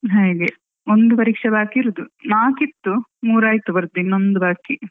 ಹಾಗೆ ಒಂದು ಪರೀಕ್ಷೆ ಬಾಕಿ ಇರುದು ನಾಕ್ ಇತ್ತು ಮೂರ್ ಆಯ್ತು ಬರ್ದು ಇನ್ನೊಂದ್ ಬಾಕಿ.